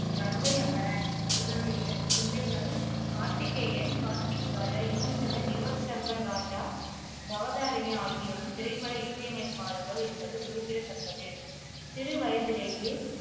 கங்கை அமரன், இவருடைய பிள்ளைகள் கார்த்திகேயன் கார்த்திக் ராஜா, யுவன் ஷங்கர் யுவன் சங்கர் ராஜா, பவதாரிணி ஆகியோரும் திரைப்பட இசையமைப்பாளர்கள் என்பது குறிப்பிடத்தக்கது சிறுவயதிலேயே